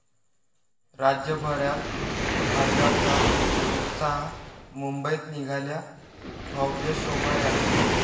राज्यभरात पाडव्याचा उत्साह, मुंबईत निघाल्या भव्य शोभायात्रा